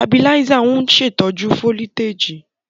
Tabiláísà ń ṣè tọ́jú fólítèjì